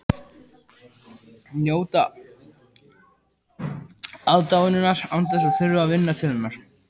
Njóta aðdáunar án þess að þurfa að vinna til hennar.